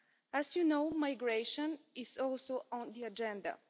As you know, migration is also on the agenda.